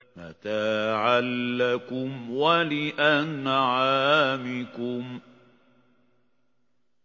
مَّتَاعًا لَّكُمْ وَلِأَنْعَامِكُمْ